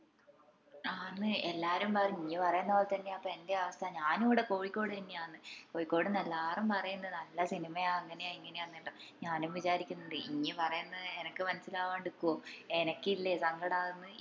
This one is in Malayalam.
ആന്ന് എല്ലാരും പറഞ്ഞു ഇഞ് പറേന്ന പോലെ തന്നെയാപ്പ എന്ൻറേം അവസ്ഥ ഞാനു ഇവിടെ കോയിക്കോടെന്നെ ആന്നെ കോഴിക്കോടിന്ന് എല്ലാരും പറേന്ന നല്ല സിനിമയാ അങ്ങനെയാ ഇങ്ങനെയാ ന്നെല്ലോം ഞാനും വിചാരിക്കുന്നുണ്ട് ഇഞ് പറേന്നെ അനക്ക് മനസ്സിലാവാണ്ട് നിക്കുവോ എനക്കില്ലേ സങ്കടാവുന്നു